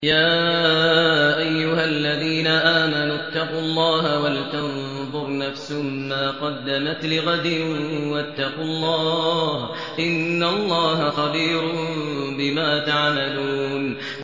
يَا أَيُّهَا الَّذِينَ آمَنُوا اتَّقُوا اللَّهَ وَلْتَنظُرْ نَفْسٌ مَّا قَدَّمَتْ لِغَدٍ ۖ وَاتَّقُوا اللَّهَ ۚ إِنَّ اللَّهَ خَبِيرٌ بِمَا تَعْمَلُونَ